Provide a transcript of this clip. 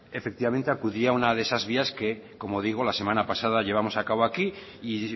efectivamente acudiría a una de esas vías que como digo la semana pasada llevamos a cabo aquí y